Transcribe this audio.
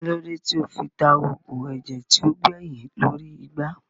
Kílódé tí ó fi ta oògùn ẹ̀jẹ̀ tí ó gbẹyìn lórí igbá